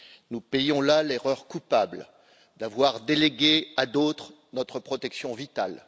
Nous payons là l'erreur coupable d'avoir délégué à d'autres notre protection vitale.